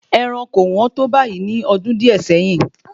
Ẹran kò wọ́n tó báyìí ní ọdún díè sẹ́yìn